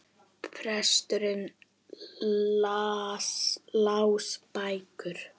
Prestar lásu bækur.